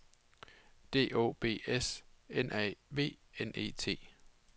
D Å B S N A V N E T